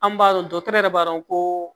An b'a dɔn dɔgɔtɔrɔ yɛrɛ b'a dɔn koo